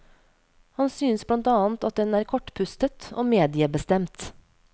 Han synes blant annet at den er kortpustet og mediebestemt.